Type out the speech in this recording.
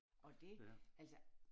Og det altså